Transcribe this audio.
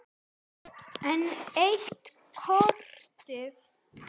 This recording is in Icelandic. Enn eitt kotið.